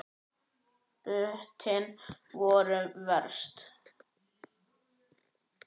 Púttin voru verst.